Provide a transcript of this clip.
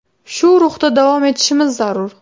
Shu ruhda davom etishimiz zarur.